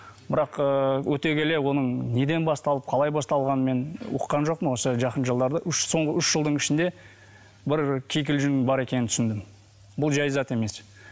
бірақ ыыы өте келе оның неден басталып қалай басталғанын мен ұққан жоқпын осы жақын жылдары үш соңғы үш жылдың ішінде бір кикілжің бар екенін түсіндім бұл жай зат емес